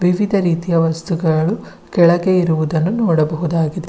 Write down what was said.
ವಿವಿಧ ರೀತಿಯ ವಸ್ತುಗಳು ಕೆಳಗೆ ಇರುವುದನ್ನು ನೋಡಬಹುದಾಗಿದೆ.